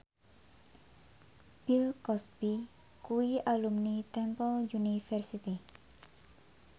Bill Cosby kuwi alumni Temple University